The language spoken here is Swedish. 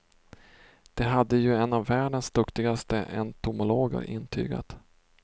Det hade ju en av världens duktigaste entomologer intygat.